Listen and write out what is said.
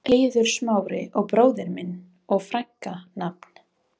Eiður Smári og bróðir minn og frænka Nafn?